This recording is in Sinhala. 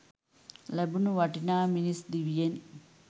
ලැබුණු වටිනා මිනිස් දිවියෙන්